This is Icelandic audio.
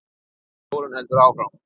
Þórunn heldur áfram